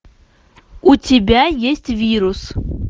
у тебя есть вирус